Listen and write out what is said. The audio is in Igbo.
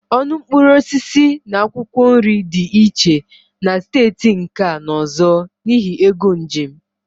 Ọnụ mkpụrụ osisi na akwụkwọ nri dị iche na steeti nke a na ọzọ n'ihi égo njem